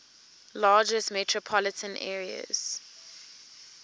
largest metropolitan areas